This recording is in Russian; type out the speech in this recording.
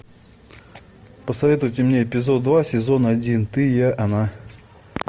посоветуйте мне эпизод два сезон один ты я она